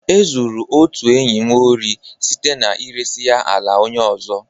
E zuru otu enyi m ori site na iresa ya ala onye ọzọ.